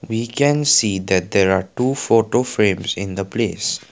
we can see that there are two photo frames in the place.